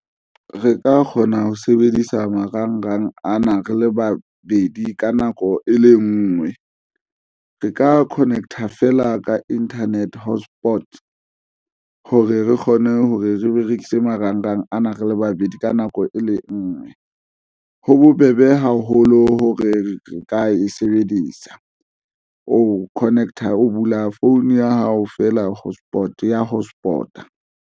Re ka kgona ho sebedisa marangrang ana. Re le babedi ka nako e le ngwe re ka connect-a fela ka internet hotspot hore re kgone hore re berekise marangrang ana re le babedi ka nako e le ngwe. Ho bobebe haholo hore re ka e sebedisa. O Connect-a o bula phone ya hao feela, hotspot e ya hotspot-a.